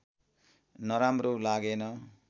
नराम्रो लागेन